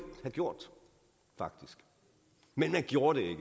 have gjort men de gjorde det